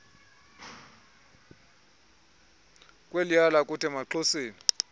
kweliya lakuthi emaxhoseni